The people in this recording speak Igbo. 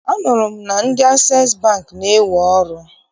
Anụrụ m na ndị Asees Bankị na-ewe ọrụ.